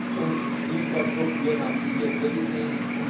Welche Wachstumsinfrastrukturen haben Sie hier vorgesehen?